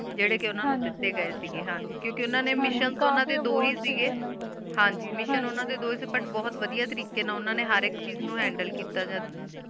ਜੇਰੀ ਕ ਓਨਾ ਨੂ ਦਿਤੀ ਗੇ ਕ ਗੀ ਹਨ ਜੀ ਕ ਕ ਹਨ ਜੀ ਮਿਸ਼ਿਓਂ ਓਨਾ ਡੀ ਦੋ ਹੀ ਕ ਕਾਫੀ ਅਵਾਰਡ ਕ ਹੋਣਾ ਡੀ ਹਨ ਜੀ ਮਿਸ਼ਿਓਂ ਓਨਾ ਦੋ ਹੀ ਕ ਹਨ ਜੀ ਫੁਟ ਭਟ ਤਾਰਿਕ਼ੀ ਨਾ ਓਨਾ ਨੀ ਹੇਰ ਇਕ ਚੀਜ਼ ਟਾਕ ਟਾਕ ਨੂ ਹੈੰਡਲ ਕੀਤਾ ਜਦ